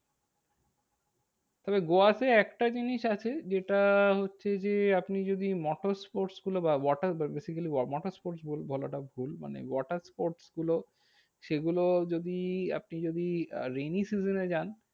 তবে গোয়াতে একটা জিনিস আছে, যেটা হচ্ছে যে আপনি যদি motorsports গুলো বা water basically motorsports বলাটা ভুল। মানে watersports গুলো সেগুলো যদি আপনি যদি rainy season এ যান